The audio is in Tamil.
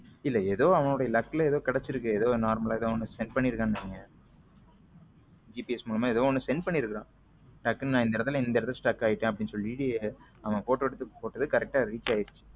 இல்ல ஏதோ அவனுடைய luck ஏதோ கிடைச்சிருக்கு ஏதோ normal ல ஏதோ send பண்ணி இருக்கேன் நினைக்கிறேன் GPS மூலமா ஏதோ send பண்ணி இருக்கான் டக்குனு இந்த இடத்துல stuck ஆயிட்டேன் அப்படின்னு சொல்லி அந்த photo எடுத்து போட்டத correct ஆ reach ஆயிடுச்சி.